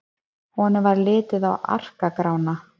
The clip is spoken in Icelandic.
Honum varð litið á Ara-Grána.